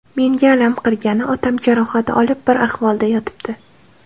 Menga alam qilgani, otam jarohat olib bir ahvolda yotibdi.